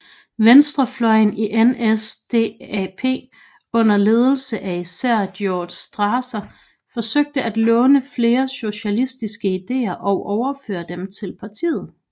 Venstrefløjen i NSDAP under ledelse af især Gregor Strasser forsøgte at låne flere socialistiske ideer og overføre dem til partiet